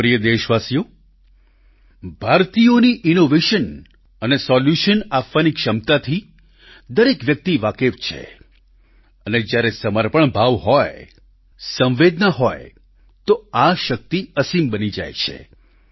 મારા પ્રિય દેશવાસીઓ ભારતિયોની ઈનોવેશન અને સોલ્યુશન આપવાની ક્ષમતાથી દરેક વ્યક્તિ વાકેફ છે અને જ્યારે સમર્પણ ભાવ હોય સંવેદના હોય તો આ શક્તિ અસીમ બની જાય છે